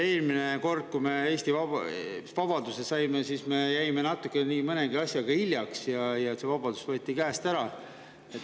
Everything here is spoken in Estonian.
Eelmine kord, kui Eesti vabaduse sai, me jäime nii mõnegi asjaga natukene hiljaks ja see vabadus võeti käest ära.